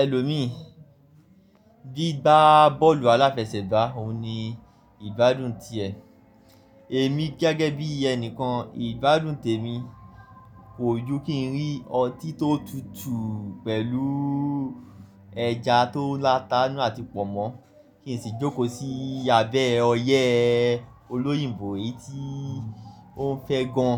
Ẹlomi, gbigbá bọ́ọ̀lù aláfẹsẹ̀gbá, òun ni ìgbádùn ti ẹ. Èmi gẹ́gẹ́ bí ẹnikan, ìgbádùn tèmi kò ju kí n rí ọtí tó tutù pẹ̀lú ẹja tó láta n nu àti pọ̀nmọ́ kí n sì jókòó sí abẹ́ ọyẹ́ olóyìnbó eyi tí ó n fẹ́ gan.